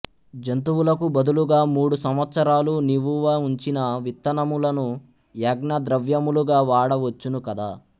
జంతువులకు బదులుగా మూడు సంవత్సరాలు నివువ ఉంచిన విత్తనములను యజ్ఞద్రవ్యములుగా వాడ వచ్చును కదా